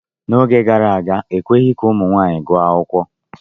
N'oge gara aga, ekweghị ka ụmụ nwaanyị gụọ akwụkwọ.